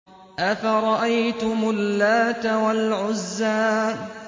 أَفَرَأَيْتُمُ اللَّاتَ وَالْعُزَّىٰ